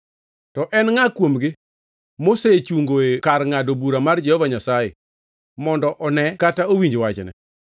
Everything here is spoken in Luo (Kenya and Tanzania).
To en ngʼa kuomgi mosechungoe kar ngʼado bura mar Jehova Nyasaye, mondo one kata owinji wachne?